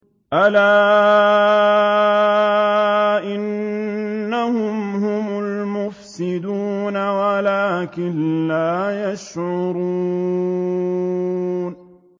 أَلَا إِنَّهُمْ هُمُ الْمُفْسِدُونَ وَلَٰكِن لَّا يَشْعُرُونَ